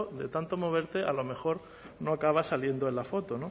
de tanto moverte a lo mejor no acabas saliendo en la foto